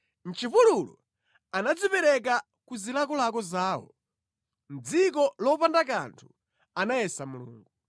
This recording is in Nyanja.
Mʼchipululu, anadzipereka ku zilakolako zawo; mʼdziko lopanda kanthu anayesa Mulungu.